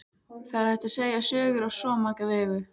Það er hægt að segja sögur á svo marga vegu.